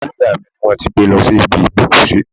Òkú ìyá mi ni wón ti gbé lọ sí ibi ìgbókùsí.